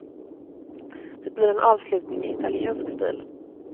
Det blir en avslutning i italiensk stil.